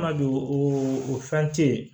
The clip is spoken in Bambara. Ma don o fɛn tɛ yen